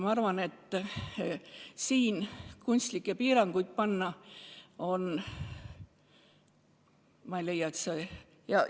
Ma arvan, et siin kunstlikke piire panna – ma ei leia, et see on vajalik.